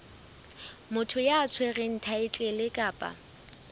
motho ya tshwereng thaetlele kapa